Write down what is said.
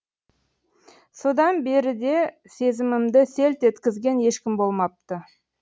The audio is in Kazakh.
содан беріде сезімімді селт еткізген ешкім болмапты